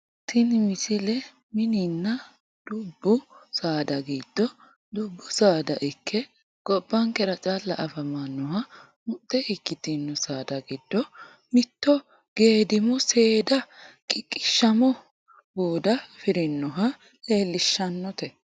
tini misle mininna dubbu saada giddo dubbu saada ikke gobbankera calla afamanoha muxxe ikkitino saada giddo mitto geedimo seeda qiqqishama buuda afirinoha leellishshannote